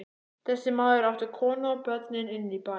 Þessi maður átti konu og börn inní bæ.